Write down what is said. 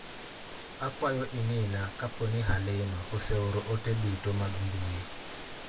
Akwayo ing'ina kaponi Halima ose oro ote dutomag mbui